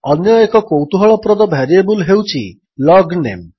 ଅନ୍ୟଏକ କୌତୁହଳପ୍ରଦ ଭାରିଏବଲ୍ ହେଉଛି ଲଗନେମ୍